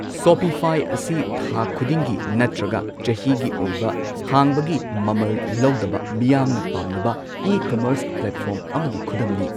Shopify ꯑꯁꯤ ꯊꯥ ꯈꯨꯗꯤꯡꯒꯤ ꯅꯠ꯭ꯇꯔꯒ ꯆꯍꯤꯒꯤ ꯑꯣꯏꯕ ꯍꯥꯡꯕꯒꯤ ꯃꯃꯜ ꯂꯧꯗꯕ ꯃꯤꯌꯥꯝꯅ ꯄꯥꯝꯅꯕ ꯏ ꯀꯃꯔꯁ ꯄ꯭ꯂꯦꯠꯐꯣꯔꯝ ꯑꯃꯒꯤ ꯈꯨꯗꯝꯅꯤ꯫